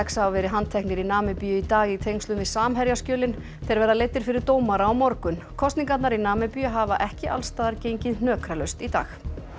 hafa verið handteknir í Namibíu í dag í tengslum við þeir verða leiddir fyrir dómara á morgun kosningarnar í Namibíu hafa ekki alls staðar gengið hnökralaust í dag